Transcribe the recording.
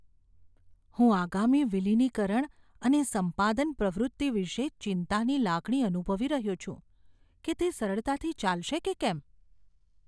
હું આગામી વિલિનીકરણ અને સંપાદન પ્રવૃત્તિ વિશે ચિંતાની લાગણી અનુભવી રહ્યો છું કે તે સરળતાથી ચાલશે કે કેમ.